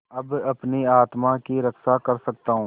अब अपनी आत्मा की रक्षा कर सकता हूँ